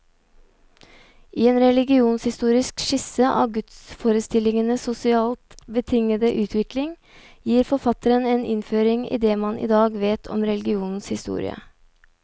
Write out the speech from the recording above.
I en religionshistorisk skisse av gudsforestillingenes sosialt betingede utvikling, gir forfatteren en innføring i det man i dag vet om religionens historie.